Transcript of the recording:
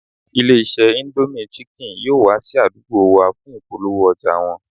Ilé-iṣẹ́ indomie chicken yóò wá sí àdúgbò wa fún ìpolówó ọjà wọn